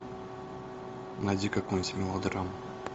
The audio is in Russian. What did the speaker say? найди какую нибудь мелодраму